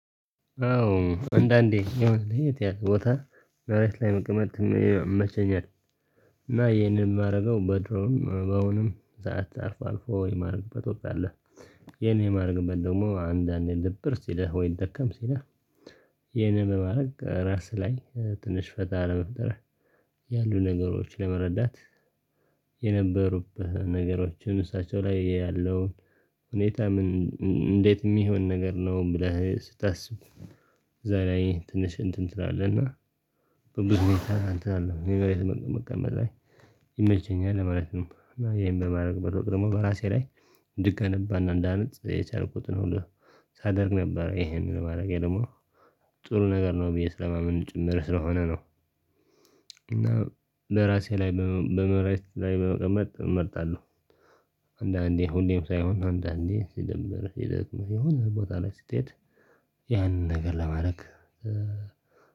አዎ አንዳንዴ የሆነ ልሄድ ያልኩበት ቦታ ላይ መቅመጥ ይመቸኛል። እና ይሄንን የምደርገው በድሮውን አሁንም ሰዓት አልፎ አልፎ የማድረግበት ወቅት አለ። ይሄን የማድረግበት ደግሞ አንዳንዴ ድብር ሲልህ ወይ ደከም ሲልህ የኔ ለማድረግ ራስ ላይ ትንሽ ፈታ መፍጠር። ያሉ ነገሮችን ለመረዳት። የነበሩብህ ነገሮችን እሳቸው ላይ ያለውን ሁኔታ ምን እንዴት የሚሆን ነገር ነው ብለህ ስታስብ አዛ ላይ ትንሽ እንትን ትላለህ እና በብዙ ሁኔታ አንተ አለው ኔቨሬት መቀመጥ ላይ ይመቸኛል ማለት ነው። እና ይሄን በማድረግ በራሴ ደግሞ በራሴ ላይ ድቅን እንዳነጥ የቻልኩት ነው ሳደርግ ነበር ይሄንን ማረግ ደግሞ ጥሩ ነገር ነው ብዬ ስለማመን ጭምር ስለሆነ ነው። እና ለራሴ ላይ በመሬት ላይ በመቀመጥ እመርጣለሁ። አንዳንዴ ሁሌም ሳይሆን አንዳንዴ ሲደብርህ ሲደክምህ የሆነ ቦታ ላይ ስትሄድ ያንን ነገር ለማድረግ።